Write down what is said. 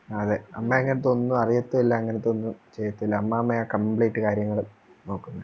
അതെ അമ്മ അങ്ങനത്തെ ഒന്നും അറിയതുല്ല്യ അങ്ങനത്തെയൊന്നും ചെയ്യത്തില അമ്മാമയാ complete കാര്യങ്ങളും നോക്കുന്നേ